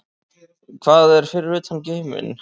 Hvað er fyrir utan geiminn?